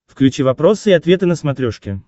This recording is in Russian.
включи вопросы и ответы на смотрешке